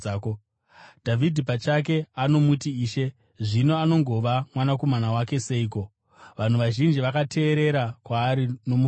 Dhavhidhi pachake anomuti ‘Ishe.’ Zvino anogova mwanakomana wake seiko?” Vanhu vazhinji vakateerera kwaari nomufaro.